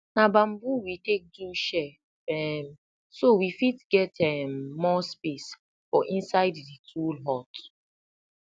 na bamboo we take do shelf um so we fit get um more space for inside di tool hut